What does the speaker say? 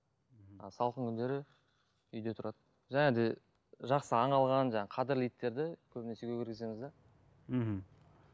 мхм ал салқын күндері үйде тұрады және де жақсы аң алған жаңағы қадірлі иттерді көбінесе үйге кіргіземіз де мхм